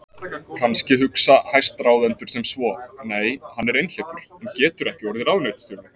Kannski hugsa hæstráðendur sem svo: Nei, hann er einhleypur, hann getur ekki orðið ráðuneytisstjóri.